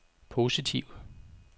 positive